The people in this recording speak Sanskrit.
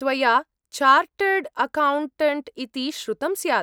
त्वया चार्टर्ड् अकौण्टण्ट् इति श्रुतं स्यात्?